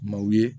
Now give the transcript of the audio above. Maaw ye